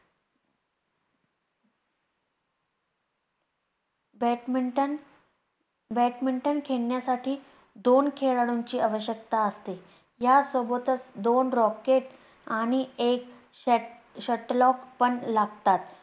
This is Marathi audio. badmintonbadminton खेळण्यासाठी दोन खेळाडूंची आवश्यकता असते. या सोबतच दोन Racket आणि एक shuttlecock पण लागतात.